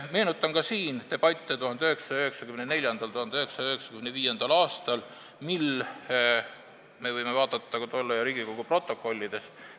Meenutan ka siinseid 1994.–1995. aasta debatte, mida me võime vaadata ka tolle aja Riigikogu protokollidest.